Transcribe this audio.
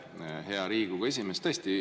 Aitäh, hea Riigikogu esimees!